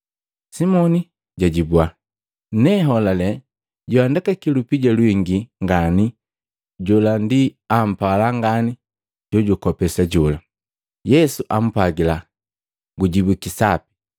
Simoni jajibua, “Neholale joandekaki lupija lwingi ngani jola ampala ngani jojukopesa jola.” Yesu ampwagila, “Gujibwiki sapi.”